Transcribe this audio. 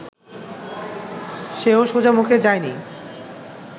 সেও সোজামুখে যায়নি